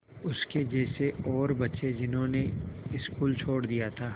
उसके जैसे और बच्चे जिन्होंने स्कूल छोड़ दिया था